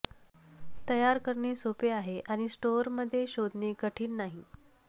तयार करणे सोपे आहे आणि स्टोअर मध्ये शोधणे कठीण नाही